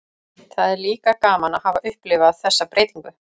Það er líka gaman að hafa upplifað þessa breytingu.